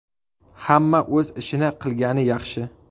Hamma o‘z ishini qilgani yaxshi.